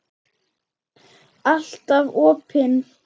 Alltaf opin.